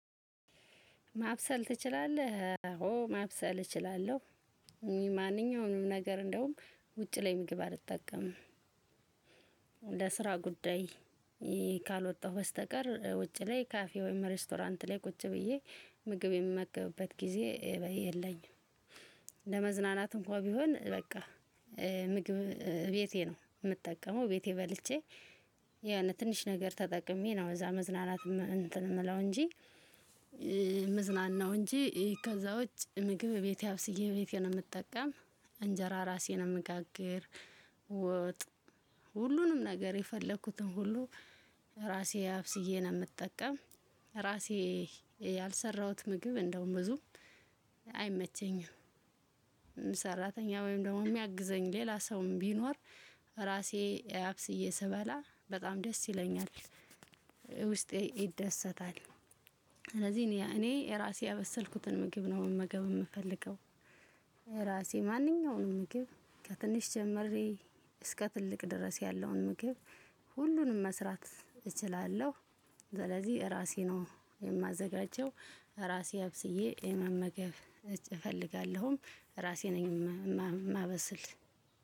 ማብሰል ትችላለህ አዎ ማብሰል እችላለሁ። ማንኛውንም ነገር እንደውም ውጪ ላይ ምግብ አልጠቀምም። ለስራ ጉዳይ። ካልወጣሁ በስተቀር ውጪ ላይ ካፌ ወይም ሬስቶራንት ላይ ቁጭ ብዬ ምግብ የምመገብበት ጊዜ የለኝም። ለመዝናናት እንኳን ቢሆን በቃ ምግብ ቤቴ ነው የምጠቀመው ቤቴ በልቼ። የሆነ ትንሽ ነገር ተጠቅሜ ነው እዛ መዝናናት እንትን የምለው እንጂ። ምዝናናው እንጂ ከዛ ውጭ ምግብ ቤቴ አብስዬ ቤቴን ነው የምጠቀም። እንጀራ ራሴ ነው እምጋግር። ወጥ ሁሉንም ነገር የፈለኩትን ሁሉ ራሴ አብስዬ ነው የምጠቀም። ራሴ ያልሰራሁት ምግብ እንደውም ብዙ አይመቸኝም። ሰራተኛ ወይም ደግሞ የሚያግዘኝ ሌላ ሰውም ቢኖር ራሴ አብስዬ ስበላ በጣም ደስ ይለኛል። ውስጤ ይደሰታል። ስለዚህ እኔ ራሴ ያበሰልኩትን ምግብ ነው መመገብ የምፈልገው። ራሴ ማንኛውንም ምግብ ከትንሽ ጀምሬ እስከ ትልቅ ድረስ ያለውን ምግብ ሁሉንም መስራት እችላለሁ። ስለዚህ ራሴ ነው የማዘጋጀው ራሴ አብስዬ መመገብ እፈልጋለሁም። ራሴ ነኝ የማበስል።